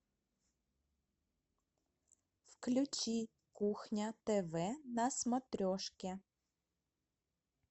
включи кухня тв на смотрешке